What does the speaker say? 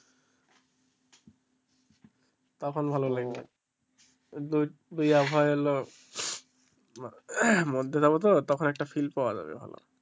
তখন ভালো লাগবে দুই আবহাওয়া মধ্যে যাবো তো তখন একটা feel পাওয়া যাবে ভালো।